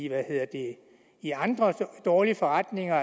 i andre dårlige forretninger